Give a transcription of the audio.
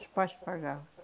Os pais que pagavam.